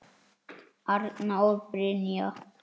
Arna og Brynja.